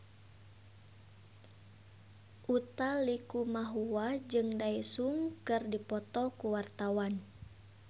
Utha Likumahua jeung Daesung keur dipoto ku wartawan